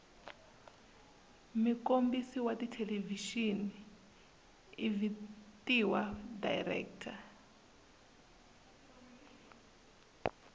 mukombisi wathelevishini ivhitiwa director